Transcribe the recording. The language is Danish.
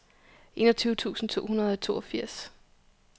enogtyve tusind to hundrede og toogfirs